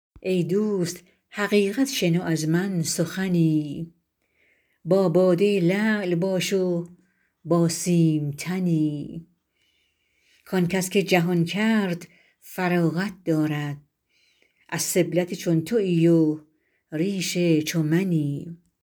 ای دوست حقیقت شنو از من سخنی با باده لعل باش و با سیم تنی که آنکس که جهان کرد فراغت دارد از سبلت چون تویی و ریش چو منی